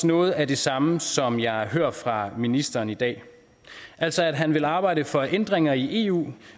noget af det samme som jeg hører fra ministeren i dag altså at han vil arbejde for ændringer i eu